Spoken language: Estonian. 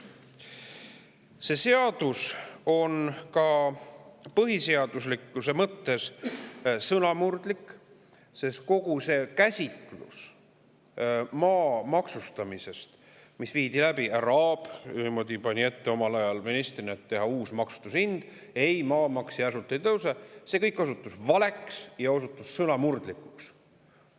See seadus on ka põhiseaduse mõttes sõnamurdlik, sest kogu senine käsitlus maa maksustamisest – härra Aab pani omal ajal ministrina ette teha uus maksustamise hind, et maamaks järsult ei tõuseks – osutus valeks ja sõnamurdlikuks.